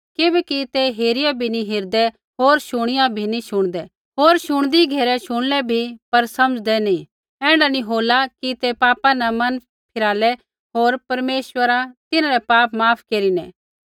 किबैकि ते हेरिया भी नी हेरदै होर शुणिया भी नी शुणदै होर शुणदी घेरै शुणलै बी पर समझ़लै नी ऐण्ढा नी होला कि ते पापा न फिरलै होर परमेश्वर तिन्हरै पापा माफ केरिनै